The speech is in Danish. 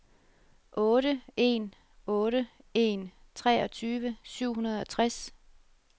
otte en otte en treogtyve syv hundrede og tres